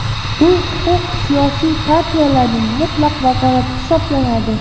Bu huquq siyosiy partiyalarning mutlaq vakolati hisoblanadi.